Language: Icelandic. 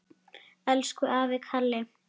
Elsku afi Kalli.